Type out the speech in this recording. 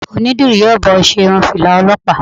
Onídìrí yóò bá ọ ṣe irú irun Fìlà Ọlọ́pàá.